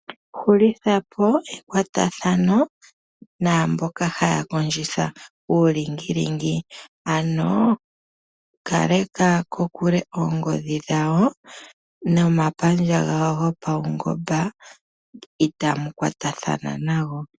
Hulitha po ekwathano namboka haya kondjitha uulingilingi ano kaleka kokule noongodhi dhawo nomapandja gawo gopaungomba itamu kwatathana nayo.